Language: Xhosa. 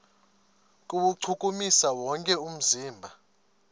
kuwuchukumisa wonke umzimba